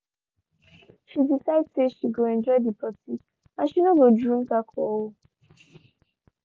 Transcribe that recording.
shey decide say she go enjoy the party and she no go drink alcohol.